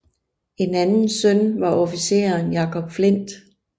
En anden søn var officeren Jacob Flindt